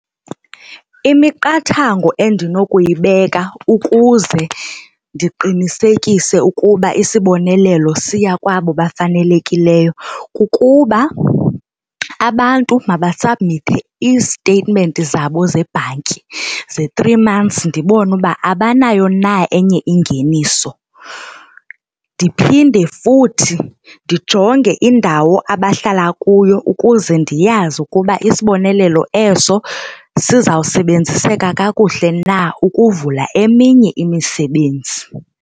Imiqathango endinokuyibeka ukuze ndiqinisekise ukuba isibonelelo siya kwabo bafanelekileyo kukuba abantu mabasabmithe ii-statement zabo zebhanki ze-three months ndibone uba abanayo na enye ingeniso. Ndiphinde futhi ndijonge indawo abahlala kuyo ukuze ndiyazi ukuba isibonelelo eso sizawusebenziseka kakuhle na ukuvula eminye imisebenzi.